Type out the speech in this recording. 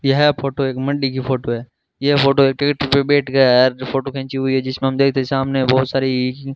यह फोटो एक मंडी की फोटो है यह फोटो जो फोटो खींची हुई है जिसमें हम देखते सामने बहोत सारी --